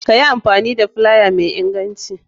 Kayi amfani da filaya mai inganci.